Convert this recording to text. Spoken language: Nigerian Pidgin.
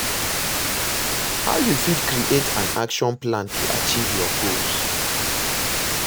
How you fit create an action plan to achieve your goals?